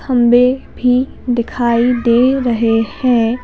थंबे भी दिखाई दे रहे हैं।